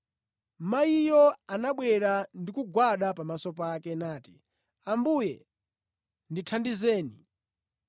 Mayiyo anabwera ndi kugwada pamaso pake, nati, “Ambuye ndithandizeni!”